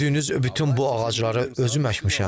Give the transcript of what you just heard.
gördüyünüz bütün bu ağacları özüm əkmişəm.